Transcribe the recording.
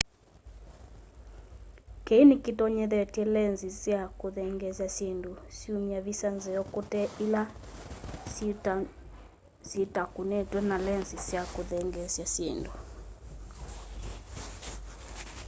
kii ni kitonyethyete lenzi sya kuthengeesya syindũ syũmya visa nzeo kũte ila syitakunitwe na lenzi ya kuthengeesya syindu